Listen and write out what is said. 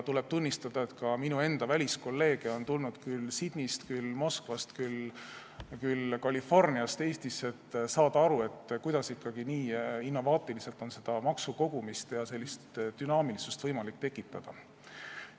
Tuleb tunnistada, et ka minu enda väliskolleege on tulnud küll Sydneyst, küll Moskvast, küll Californiast Eestisse, et saada aru, kuidas ikkagi nii innovaatiliselt on seda maksukogumist võimalik teha ja sellist dünaamilisust tekitada.